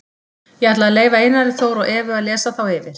Ég ætla að leyfa Einari Þór og Evu að lesa þá yfir.